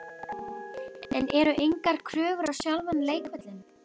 En eru engar kröfur á sjálfan leikvöllinn?